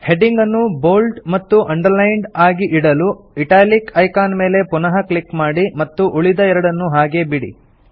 heading ಅನ್ನು bold ಮತ್ತು underlined ಆಗಿ ಇಡಲು ಇಟಾಲಿಕ್ ಐಕಾನ್ ಮೇಲೆ ಪುನಃ ಕ್ಲಿಕ್ ಮಾಡಿ ಮತ್ತು ಉಳಿದ ಎರಡನ್ನು ಹಾಗೆಯೇ ಬಿಡಿ